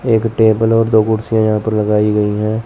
एक टेबल और दो कुर्सियां यहां पर लगाई गई हैं।